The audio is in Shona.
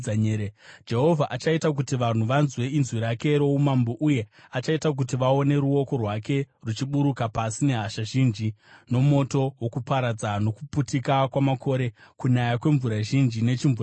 Jehovha achaita kuti vanhu vanzwe inzwi rake roumambo, uye achaita kuti vaone ruoko rwake ruchiburuka pasi, nehasha zhinji nomoto wokuparadza, nokuputika kwamakore, kunaya kwemvura zhinji nechimvuramabwe.